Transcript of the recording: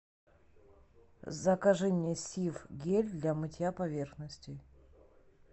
закажи мне сиф гель для мытья поверхностей